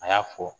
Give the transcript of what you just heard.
A y'a fɔ